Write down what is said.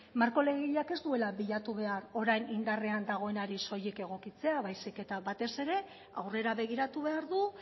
marko legegileak ez duela bilatu behar orain indarrean dagoenari soilik egokitzea baizik eta batez ere aurrera begiratu behar du